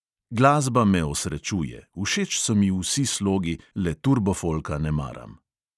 Glasba me osrečuje, všeč so mi vsi slogi, le turbofolka ne maram.